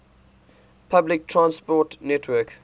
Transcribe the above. public transport network